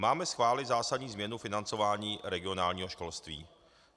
Máme schválit zásadní změnu financování regionálního školství.